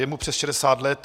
Je mu přes 60 let.